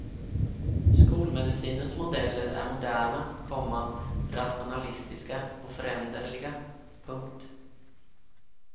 Skolmedicinens modeller är moderna, komma rationalistiska och föränderliga. punkt